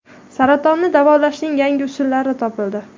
Saratonni davolashning yangi usuli topildi.